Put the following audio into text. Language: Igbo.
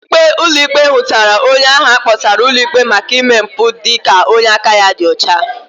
Ikpe ulo ikpe hutara onye ahụ akpotara ulo ikpe maka ime mpu dika onye aka ya di ọcha.